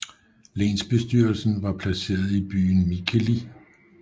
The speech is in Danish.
Lensbestyrelsen var placeret i byen Mikkeli